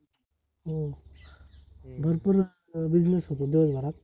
हो, भरपूर अं business होतो दिवसभरात